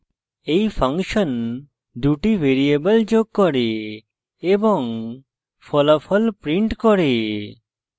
এই function 2 the variable যোগ করে এবং ফলাফল prints করে